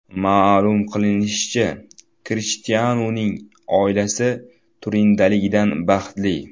Ma’lum qilinishicha, Krishtianuning oilasi Turindaligidan baxtli.